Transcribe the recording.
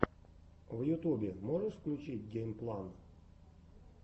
в ютубе можешь включить геймплан